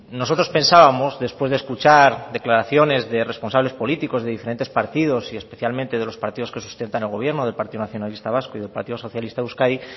nosotros pensábamos después de escuchar declaraciones de responsables políticos de diferentes partidos y especialmente de los partidos que sustentan el gobierno del partido nacionalista vasco y el partido socialista euskadi